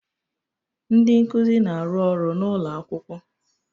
Ndị nkuzi na-arụ ọrụ n'ụlọ akwụkwọ